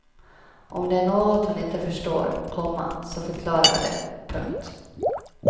Om det är något hon inte förstår, komma så förklarar jag det. punkt